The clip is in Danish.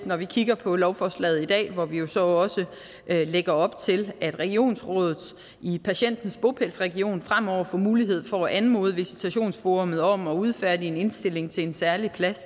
når vi kigger på lovforslaget i dag hvor vi jo så også lægger op til at regionsrådet i patientens bopælsregion fremover får mulighed for at anmode visitationsforummet om at udfærdige en indstilling til en særlig plads